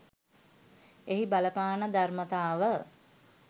එහි බලපාන ධර්මතාව